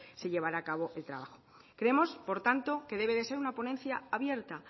se llevará a cabo el trabajo creemos por tanto que debe de ser una ponencia abierta